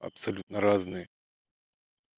абсолютно разные